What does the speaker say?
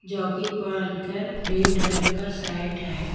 Jacket पहन कर red रंग का शर्ट है।